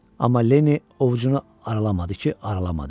Amma Lenni ovucunu aralamadı ki, aralamadı.